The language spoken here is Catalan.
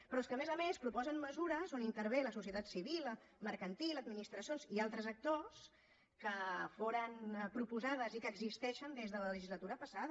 però és que a més a més proposen mesures on intervé la societat civil mercantil administracions i altres actors que foren proposades i que existeixen des de la legislatura passada